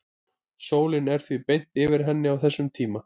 sólin er því beint yfir henni á þessum tíma